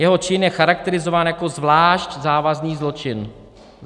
Jeho čin je charakterizován jako zvlášť závažný zločin."